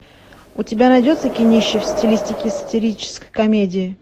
у тебя найдется кинище в стилистике сатирической комедии